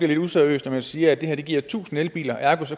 lidt useriøst når man siger at det her giver tusind elbiler og ergo